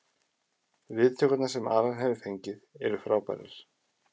Viðtökurnar sem Alan hefur fengið eru frábærar.